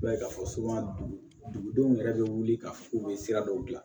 I b'a ye k'a fɔ dugudenw yɛrɛ bɛ wuli ka f'u bɛ sira dɔw dilan